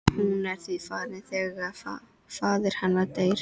Hún er því farin þegar faðir hennar deyr.